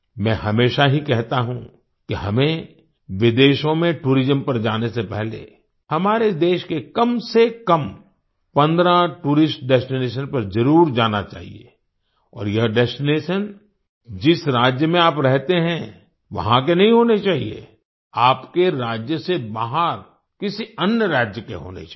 मैं हमेशा ही कहता हूँ कि हमें विदेशों में टूरिज्म पर जाने से पहले हमारे देश के कम से कम 15 टूरिस्ट डेस्टिनेशन पर जरुर जाना चाहिए और यह डेस्टिनेशन जिस राज्य में आप रहते हैं वहां के नहीं होने चाहिए आपके राज्य से बाहर किसी अन्य राज्य के होने चाहिए